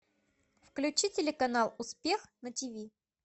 включи телеканал успех на тиви